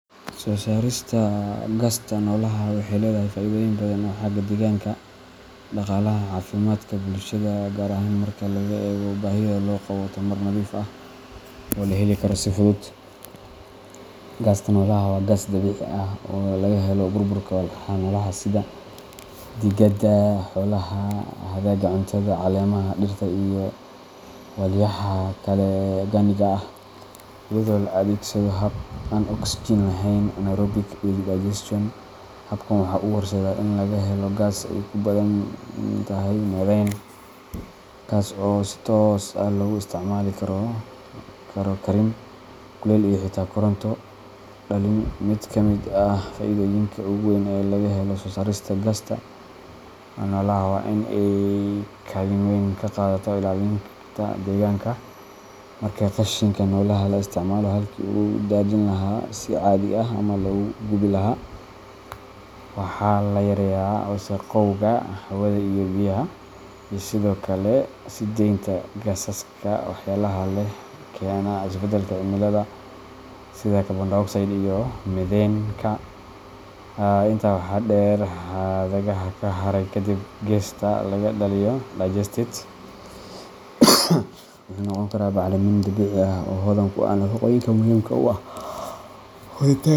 Soo saarista gasta noolaha waxay leedahay faa’iidooyin badan oo xagga deegaanka, dhaqaalaha, iyo caafimaadka bulshada ah, gaar ahaan marka laga eego baahida loo qabo tamar nadiif ah oo la heli karo si fudud. Gasta noolaha waa gaas dabiici ah oo laga helo burburka walxaha noolaha sida digada xoolaha, hadhaaga cuntada, caleemaha dhirta, iyo walxaha kale ee organic-ga ah, iyadoo la adeegsado hab aan oksijiin lahayn anaerobic digestion. Habkan waxa uu horseedaa in laga helo gaas ay ku badan tahay methane, kaas oo si toos ah loogu isticmaali karo karin, kuleyl, iyo xitaa koronto dhalin. Mid ka mid ah faa’iidooyinka ugu weyn ee laga helo soo saarista gasta noolaha waa in ay kaalin weyn ka qaadato ilaalinta deegaanka. Markii qashinka noolaha la isticmaalo halkii lagu daadin lahaa si caadi ah ama lagu gubi lahaa, waxa la yareeyaa wasakhowga hawada iyo biyaha, iyo sidoo kale sii deynta gaasaska waxyeelada leh ee keena isbeddelka cimilada sida carbon dioxide iyo methaneka. Intaa waxaa dheer, hadhaaga ka soo haray kadib marka gasta laga dhaliyo digestate, wuxuu noqon karaa bacrimin dabiici ah oo hodan ku ah nafaqooyinka muhiimka u ah koritaanka